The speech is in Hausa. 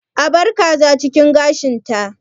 Abar kaza cikin gashin ta!